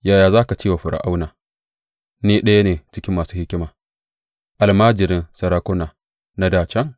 Yaya za ka ce wa Fir’auna, Ni ɗaya ne cikin masu hikima, almajirin sarakuna na dā can?